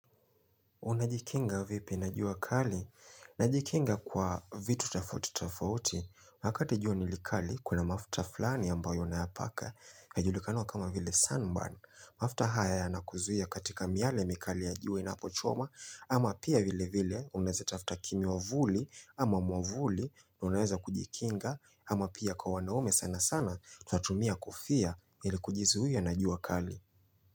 Unajikinga vipi najua kali? Najikinga kwa vitu tafauti tafauti. Wakati jua nilikali, kuna mafta fulani ambayo unayapaka. Najulikana kama vile sunburn. Mafta haya ya nakuzuhia katika miale mikali ya juo inapo choma ama pia vile vile. Unaweza tafta kimi wavuli ama mwavuli na unaweza kujikinga ama pia kwa wanaume sana sana tunatumia kofia ili kujizuhia najua kali.